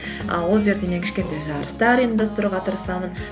і ол жерде мен кішкентай жарыстар ұйымдастыруға тырысамын